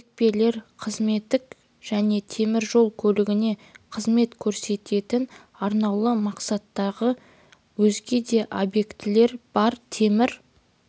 екпелер қызметтік және темір жол көлігіне қызмет көрсететін арнаулы мақсаттағы өзге де объектілер бар темір